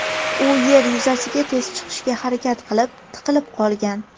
U yer yuzasiga tez chiqishga harakat qilib, tiqilib qolgan.